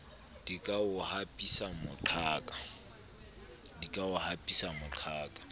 di ka o hapisa moqhaka